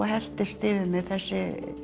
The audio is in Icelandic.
helltist yfir mig þessi